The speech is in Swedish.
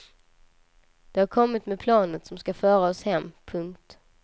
De har kommit med planet som ska föra oss hem. punkt